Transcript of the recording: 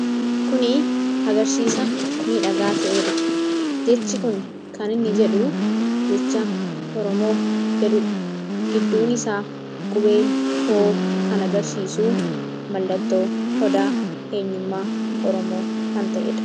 Kuni agarsiisa miidhagaa ta'eedha. Jechi kun kan inni jedhu jecha Oromoo jedhuudha. Gidduun isaa qubeen O kan agarsiisuu mallattoo Odaa eenyummaa oromoo kan ta'edha.